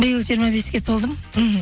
биыл жиырма беске толдым мхм